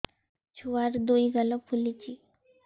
ଛୁଆର୍ ଦୁଇ ଗାଲ ଫୁଲିଚି